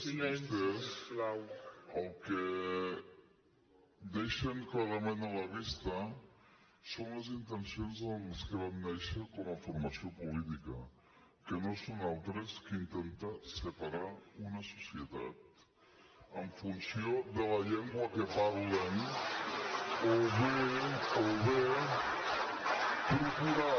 vostès el que deixen clarament a la vista són les intencions amb què van néixer com a formació política que no són altres que intentar separar una societat en funció de la llengua que parlen o bé procurar